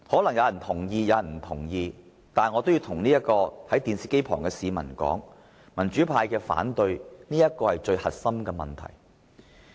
不過，我要向收看電視直播的市民說道，民主派之所以反對，便是因為這最核心的問題。